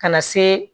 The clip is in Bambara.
Ka na se